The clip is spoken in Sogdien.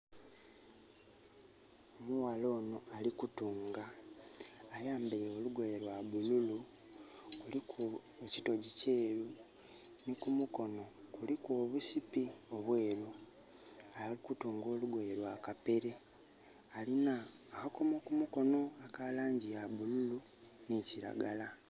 Mughala ono alikutunga. Ayambaire lugoye lwa bululu kuliku ekitogi kyeru ni kumukono kuliku obusippi obweru. Alikutunga olugoye lwa kapere. Alina akakomo kumukono aka langi ya bululu ni kiragala